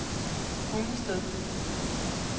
Hundested